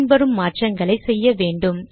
பின் வரும் மாற்றங்களை செய்ய வேண்டும்